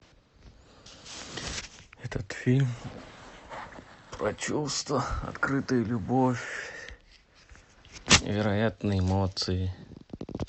этот фильм про чувства открытую любовь невероятные эмоции